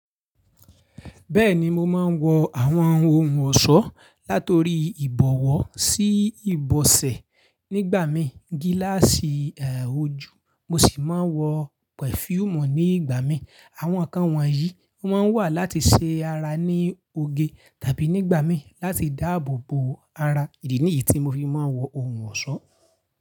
Bẹ́ẹ̀ni mo máa ń wọ àwọn ohun ọ̀ṣọ́ látori ìbọ̀wọ̀ sí ìbọ̀sẹ̀ nígbà mí gílàsì eéh ojú mo sì máa ń wọ perfume ní ìgbà mí. Àwọn ǹkan wọ̀nyí o máa ń wà láti ṣe ara ní oge tàbí nígbà mí láti dáàbò bo ara. Ìdí nìyí tí mo fi máa ń wọ ohun ọ̀ṣọ́.